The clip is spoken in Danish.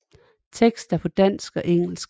Teksten er på dansk og engelsk